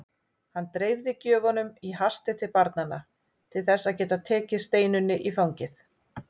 Hann dreifði gjöfunum í hasti til barnanna til þess að geta tekið Steinunni í fangið.